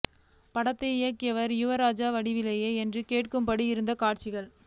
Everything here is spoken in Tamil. படத்தை இயக்கியவர் யுவராஜா வடிவேலா என்று கேட்கும்படி இருந்தன காட்சிகள்